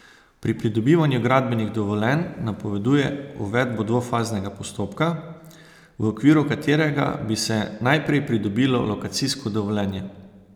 Pri pridobivanju gradbenih dovoljenj napoveduje uvedbo dvofaznega postopka, v okviru katerega bi se najprej pridobilo lokacijsko dovoljenje.